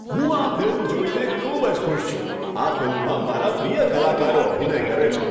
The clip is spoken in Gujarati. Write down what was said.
હું આ ફિલ્મ જોઈને ખૂબ જ ખુશ છું. આ ફિલ્મમાં મારા પ્રિય કલાકારો અભિનય કરે છે.